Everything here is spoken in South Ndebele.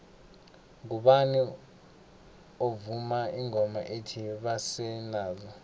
ngubani ovuma ingoma ethi basele nazo